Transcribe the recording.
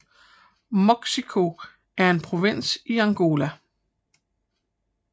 Moxico er en provins i Angola